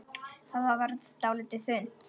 Það varð dálítið þunnt.